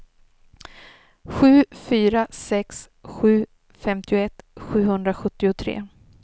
sju fyra sex sju femtioett sjuhundrasjuttiotre